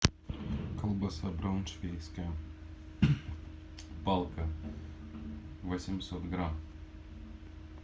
колбаса брауншвейгская палка восемьсот грамм